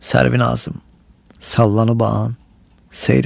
Sərvinazım sallanıban seyr elə.